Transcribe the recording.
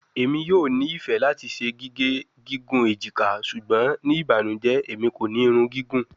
Emi yoo ni ifẹ lati ṣe gige gigun ejika ṣugbọn ni ibanujẹ Emi ko ni irun gigun